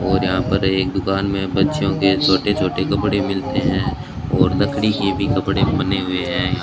और यहां पर एक दुकान में बच्चों के छोटे छोटे कपड़े मिलते हैं और लकड़ी के भी कपड़े बने हुए हैं यहां।